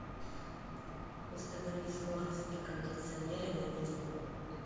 установи скорость на кондиционере на минимум